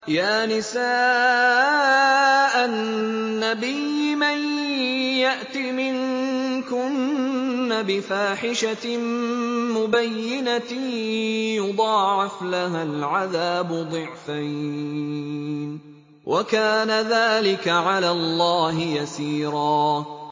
يَا نِسَاءَ النَّبِيِّ مَن يَأْتِ مِنكُنَّ بِفَاحِشَةٍ مُّبَيِّنَةٍ يُضَاعَفْ لَهَا الْعَذَابُ ضِعْفَيْنِ ۚ وَكَانَ ذَٰلِكَ عَلَى اللَّهِ يَسِيرًا